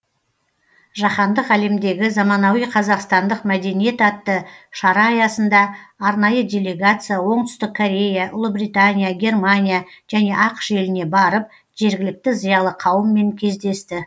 жаһандық әлемдегі заманауи қазақстандық мәдениет атты шара аясында арнайы делегация оңтүстік корея ұлыбритания германия және ақш еліне барып жергілікті зиялы қауыммен кездесті